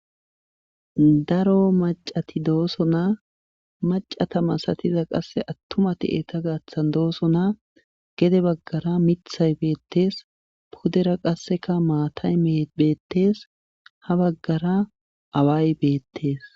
Daro maccati dosona. macata malatiza atuma eeta gaatan dosona. gede bagara miththay beetees. pudera qassekka maatay beethees. ha bagara away betes.